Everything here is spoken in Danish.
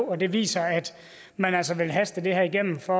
og det viser at man altså vil haste det her igennem for